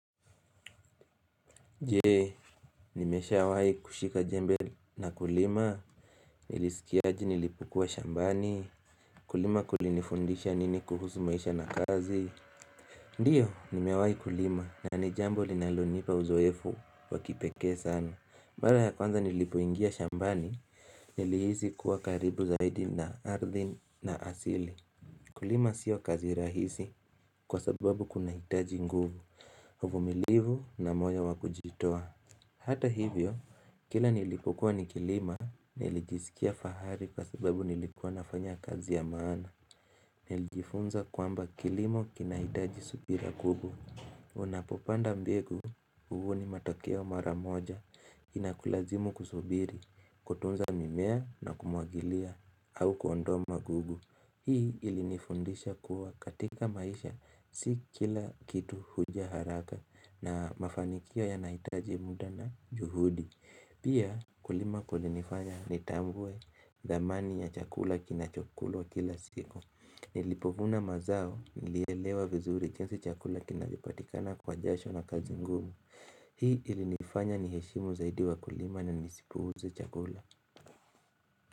Je, nimeshawahi kushika jembe na kulima? Nilisikia aje nilipokuwa shambani? Kulima kulinifundisha nini kuhusu maisha na kazi? Ndiyo, nimewahi kulima, na ni jambo linalonipa uzoefu wa kipekee sana. Mara ya kwanza nilipoingia shambani, nilihisi kuwa karibu zaidi na ardhi na asili. Kulima siyo kazi rahisi kwa sababu kunahitaji nguvu, uvumilivu, na moyo wa kujitoa. Hata hivyo, kila nilipokuwa nikilima nilijisikia fahari kwa sababu nilikuwa nafanya kazi ya maana. Nilijifunza kwamba kilimo kinahitaji subira kubwa. Unapopanda mbegu, huvuni matokeo mara moja. Inakulazimu kusubiri, kutunza mimea na kumwagilia, au kuondoa magugu. Hii ilinifundisha kuwa katika maisha, si kila kitu huja haraka, na mafanikio yanahitaji muda na juhudi. Pia, kulima kulinifanya nitambue thamani ya chakula kinachokulwa kila siku. Nilipovuna mazao nilielewa vizuri jinsi chakula kinavyopatikana kwa jasho na kazi ngumu. Hii ilinifanya niheshimu zaidi wakulima na nisipuuze chakula.